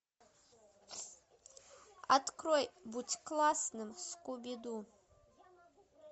открой будь классным скуби ду